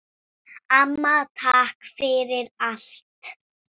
Amma, takk fyrir allt.